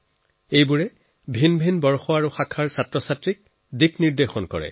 ইয়াত তেওঁলোকে বেলেগ বেলেগ বেট্চৰ বিদ্যাৰ্থীক গাইড কৰে